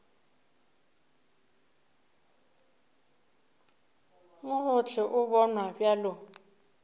mo gohle o bonwa bjalo